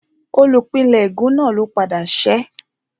Olùpìnlẹ́ ègún náà ló padà ṣẹ́